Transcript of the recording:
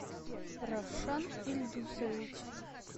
равшан ильдусович